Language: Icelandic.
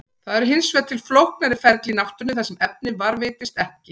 Það eru hins vegar til flóknari ferli í náttúrunni þar sem efnið varðveitist ekki.